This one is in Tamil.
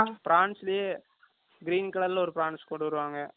Prawns லயே, green colour ல, ஒரு Prawns தருவாங்க